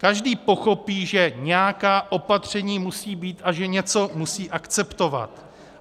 Každý pochopí, že nějaká opatření musí být a že něco musí akceptovat.